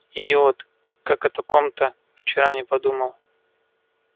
идиот как о таком-то вчера не подумал